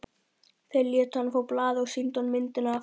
Þeir létu hann fá blaðið og sýndu honum myndina af